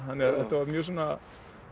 þannig að þetta var mjög svona